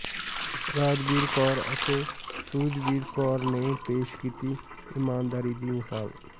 ਰਾਜਬੀਰ ਕੌਰ ਅਤੇ ਸੁਹਜਵੀਰ ਕੌਰ ਨੇ ਪੇਸ਼ ਕੀਤੀ ਈਮਾਨਦਾਰੀ ਦੀ ਮਿਸਾਲ